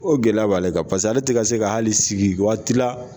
O gɛlɛya b'ale kan. Paseke ale te ka se ka hali sigi waati la